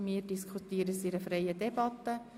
Wir diskutieren es in freier Debatte.